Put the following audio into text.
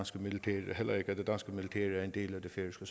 det er en del af det færøske